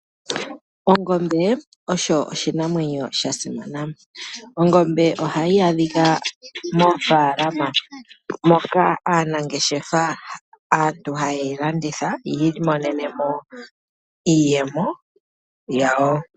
Ongombe osho oshinamwenyo sha simana. Ongombe ohayi adhika moofalama moka aanangeshefa hayeyi landitha yi imonenemo iiyemo yawo.